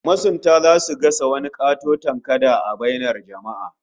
Masunta zasu gasa wani katoton kada a bainar jama'a